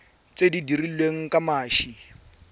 tse di dirilweng ka mashi